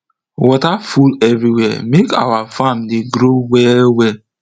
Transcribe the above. water full everywhere make our farm dey grow well well